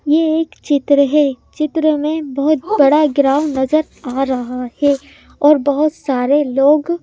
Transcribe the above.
यह एक चित्र है चित्र में बहुत बड़ा ग्राउंड नजर आ रहा है और बहुत सारे लोग--